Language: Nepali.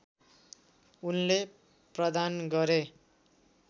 उनले प्रदान गरे